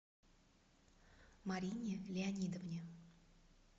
марине леонидовне